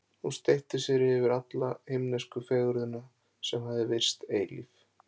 Hún steypti sér yfir alla himnesku fegurðina, sem hafði virst eilíf.